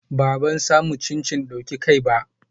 Ba, ban samu cincin dauki kai ba.